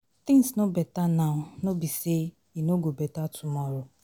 Things no beta now no be say e no go beta tomorrow.